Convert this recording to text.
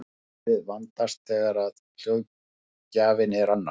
málið vandast þegar hljóðgjafinn er annar